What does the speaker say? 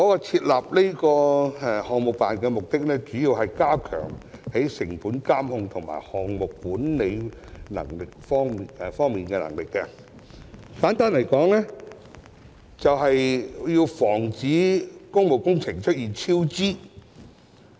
設立項目辦的主要目的是加強成本監控和項目管理的能力，簡單來說就是要防止工務工程出現超支。